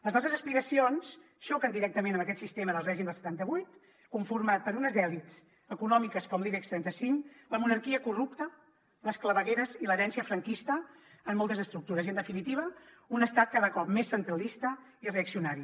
les nostres aspiracions xoquen directament amb aquest sistema del règim del setanta vuit conformat per unes elits econòmiques com l’ibex trenta cinc la monarquia corrupta les clavegueres i l’herència franquista en moltes estructures i en definitiva un estat cada cop més centralista i reaccionari